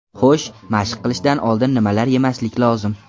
Xo‘sh, mashq qilishdan oldin nimalar yemaslik lozim?